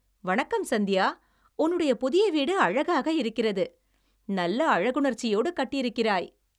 வணக்கம் சந்தியா, உன்னுடைய புதிய வீடு அழகாக இருக்கிறது, நல்ல அழகுணர்ச்சியோடு கட்டியிருக்கிறாய்.